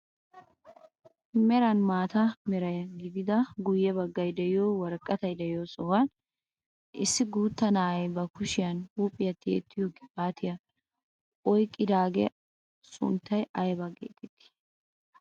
Meran maata mera gidida guye baggay de'iyoo woraqatay de'iyoo sohuwaan issi guutta na'iyaa ba kushiyaan huuphphiyaa tiyettiyoo qibaatiyaa oyqqidoogaa sunttay aybaa getettii?